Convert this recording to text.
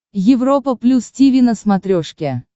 европа плюс тиви на смотрешке